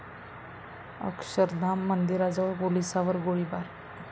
अक्षरधाम मंदिराजवळ पोलिसांवर गोळीबार